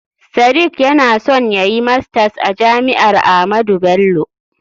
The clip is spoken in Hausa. Sadiq yana son yayi masters a jami'ar Ahmadu Bello.